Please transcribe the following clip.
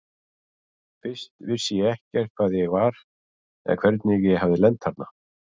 Fyrst vissi ég ekkert hvar ég var eða hvernig ég hafði lent þarna.